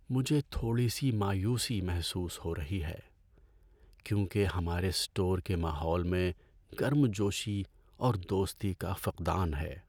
مجھے تھوڑی سی مایوسی محسوس ہو رہی ہے کیونکہ ہمارے اسٹور کے ماحول میں گرم جوشی اور دوستی کا فقدان ہے۔